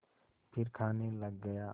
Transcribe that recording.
फिर खाने लग गया